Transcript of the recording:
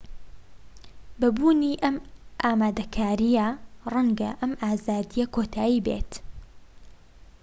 بە بوونی ئەم ئامادەکاریە ڕەنگە ئەم ئازادیە کۆتایی بێت